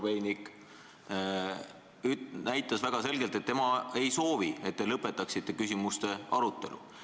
Näiteks Andrei Korobeinik näitas väga selgelt, et tema ei soovi, et te lõpetaksite küsimuste arutelu.